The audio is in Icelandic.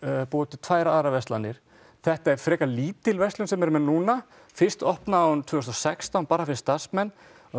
búa til tvær aðrar verslanir þetta er frekar lítil verslun sem þeir eru með núna fyrst opnaði hún tvö þúsund og sextán bara fyrir starfsmenn